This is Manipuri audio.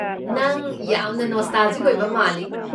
ꯅꯪ ꯌꯥꯝꯅ ꯅꯣꯁꯇꯥꯜꯖꯤꯛ ꯑꯣꯏꯕ ꯃꯥꯜꯂꯤ꯫